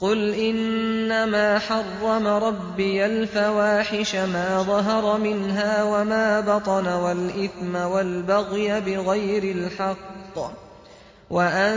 قُلْ إِنَّمَا حَرَّمَ رَبِّيَ الْفَوَاحِشَ مَا ظَهَرَ مِنْهَا وَمَا بَطَنَ وَالْإِثْمَ وَالْبَغْيَ بِغَيْرِ الْحَقِّ وَأَن